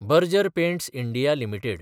Berger Paints India limited